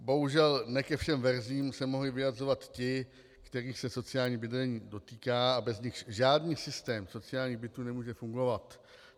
Bohužel ne ke všem verzím se mohli vyjadřovat ti, kterých se sociální bydlení dotýká a bez nichž žádný systém sociálních bytů nemůže fungovat.